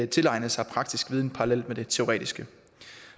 tilegne sig praktisk viden parallelt med det teoretiske